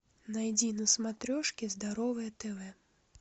найди на смотрешке здоровое тв